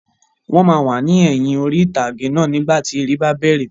Wọ́n máa wà ní ẹ̀yin ìtàgé náà nígbàtí eré bá bẹ̀rẹ̀